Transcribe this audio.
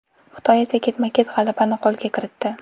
Xitoy esa ketma-ket g‘alabani qo‘lga kiritdi.